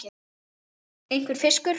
einhver fiskur.